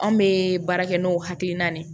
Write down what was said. Anw bɛ baara kɛ n'o hakilina de ye